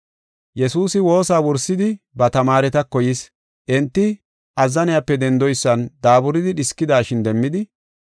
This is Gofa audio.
Yesuusi woosa wursidi ba tamaaretako yis. Enti, azzanope dendoysan daaburidi dhiskidashin demmidi,